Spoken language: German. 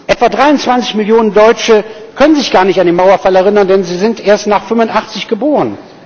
Etwa 23 Millionen Deutsche können sich gar nicht an den Mauerfall erinnern, denn sie sind erst nach 1985 geboren.